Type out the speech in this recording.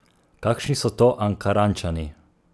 Kakšni so to Ankarančani?